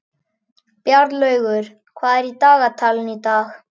Bjarnlaugur, hvað er á dagatalinu í dag?